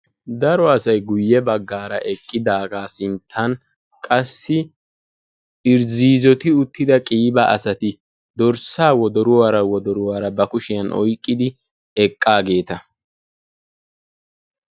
Daro asaay guuye baggara eqqidaga sinttan qassi irzzizoti uttida qiba asaati dorssa wodoruwaara wodoruwaara ba kushiyan oyqqidi eqqagetta.